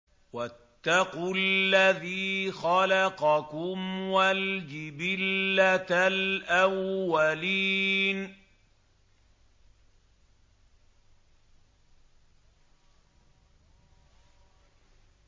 وَاتَّقُوا الَّذِي خَلَقَكُمْ وَالْجِبِلَّةَ الْأَوَّلِينَ